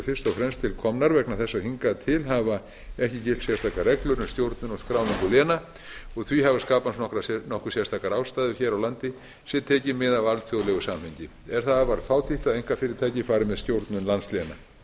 fremst til komnar vegna þess að hingað til hafa ekki gilt sérstakar reglur um stjórnun og skráningu léna og því hafa skapast nokkuð sérstakar aðstæður hér á landi sé tekið mið af alþjóðlegu samhengi er það afar fátítt að einkafyrirtæki fari með stjórnun landsléna